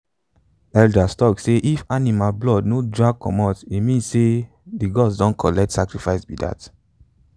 elders tok say if animal blood no drag comot e mean say the gods don collect sacrifice be dat.